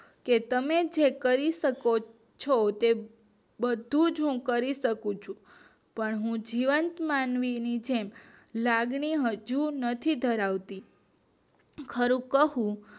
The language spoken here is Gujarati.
કે તમે જે કરી શકો છો તે હું બધુજ હું કરી શકું છું પણ હું જીવંત માનવી ની જેમ લાગણી હજુ નથી ધરાવતી ખરું કહો